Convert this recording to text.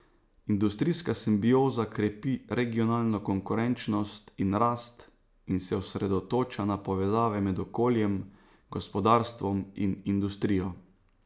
Industrijska simbioza krepi regionalno konkurenčnost in rast in se osredotoča na povezave med okoljem, gospodarstvom in industrijo.